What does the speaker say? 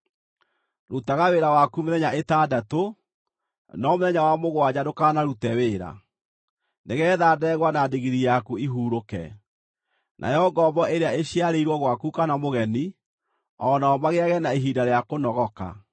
“Rutaga wĩra waku mĩthenya ĩtandatũ, no mũthenya wa mũgwanja ndũkanarute wĩra, nĩgeetha ndegwa na ndigiri yaku ihurũke, nayo ngombo ĩrĩa ĩciarĩirwo gwaku, kana mũgeni, o nao magĩage na ihinda rĩa kũnogoka.